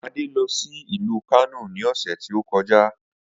Ade lọ sí ìlú Kano ni ọ̀sẹ̀ tí ó kọjá